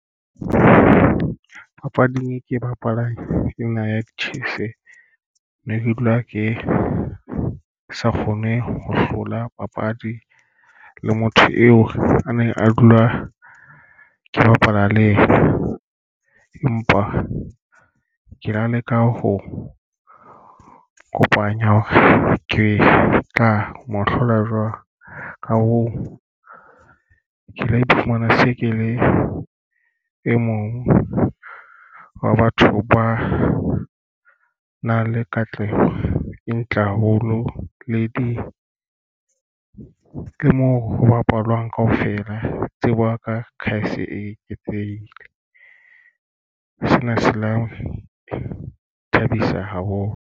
Papadi e ke e bapalang ena ya di tjhese ne ke dula ke sa kgone ho hlola papadi le motho eo a ne a dula ke bapala le empa ke le ka ho kopanya hore ke tla mo hlola jwang. Ka hoo, ke la iphumana se ke le e mong wa batho ba na le katleho e ntle haholo le di, le moo ho bapalwang kaofela. Tsebo yaka ke ha se eketsehile. Sena se la thabisa haholo.